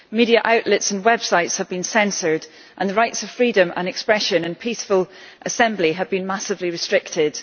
Media outlets and websites have been censored and the rights of freedom of expression and peaceful assembly have been massively restricted.